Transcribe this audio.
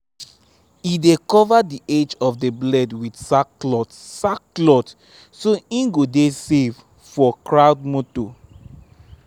e dey cover the edge of the blade with sack cloth sack cloth so hin go de safe for crowd motor